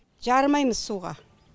жарымаймыз суға